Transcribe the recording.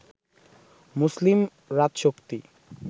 মুসলিম রাজশক্তি